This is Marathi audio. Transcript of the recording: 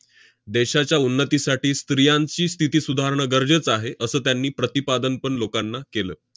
देशाच्या उन्नतीसाठी स्त्रियांची स्थिती सुधारणं गरजेचं आहे, असं त्यांनी प्रतिपादन पण लोकांना केलं.